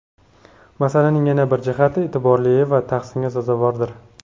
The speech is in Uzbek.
Masalaning yana bir jihati e’tiborli va tahsinga sazovordir.